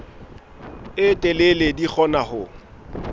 e telele di kgona ho